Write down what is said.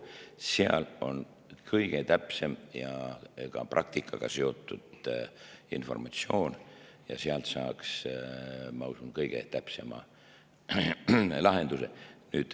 Seal on kõige täpsem ja praktikaga seotud informatsioon ja sealt saaks, ma usun, kõige täpsema lahenduse.